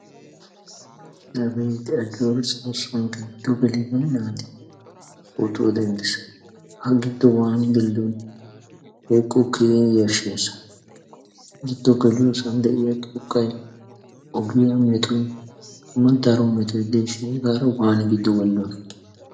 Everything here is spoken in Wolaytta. La beytte Ajjoora soossuwan giddo gelidi naati pootuwa denddees. Ha giddo waani gelidona woykko keehin yashshiyaassa. Giddo geliyoossan de'iyaa xoqqay, ogiyaa mettoy, hegan daro metoy deshin hegaara waannidi duge gelidoona